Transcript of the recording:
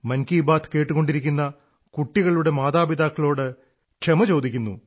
മൻ കീ ബാത് കേട്ടുകൊണ്ടിരിക്കുന്ന കുട്ടികളുടെ മാതാപിതാക്കളോട് ക്ഷമ അഭ്യർഥിക്കുന്നു